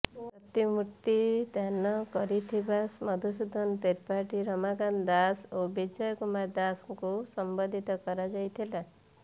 ପ୍ରତିମୂର୍ତ୍ତି ଦାନ କରିଥିବା ମଧୁସୂଦନ ତ୍ରିପାଠୀ ରାଧାକାନ୍ତ ଦାଶ ଓ ବିଜୟ କୁମାର ଦାସଙ୍କୁ ସମ୍ବର୍ଦ୍ଧିତ କରାଯାଇଥିଲା